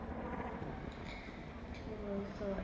কি বলছো?